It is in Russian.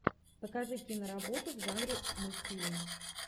покажи киноработу в жанре мультфильма